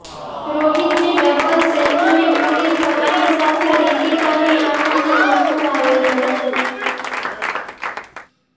રોહિતની double century પૂરી થવાની સાથે રિતિકાની આંખોમાં આંસુ આવી ગયા